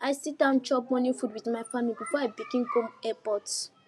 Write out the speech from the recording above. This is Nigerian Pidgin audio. i sit down chop morning food with my family before i begin go airport